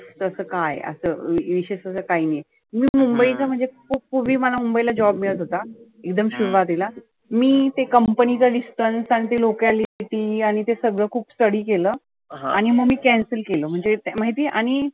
तर असं काय आहे? असं विशेष असं काही नाही. मी मुंबईचा म्हणजे खुप पुर्वी मला मुंबईला job मिळत होता, एकदम सुरुवातीला. मी ते company चं Distance आणि ते locality आणि ते सगळ खुप study केलं. आणि मी ते cancel केलं.